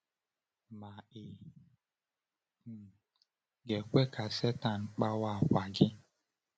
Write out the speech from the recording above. Ma ị um ga-ekwe ka Sátán kpawa àkwà gị?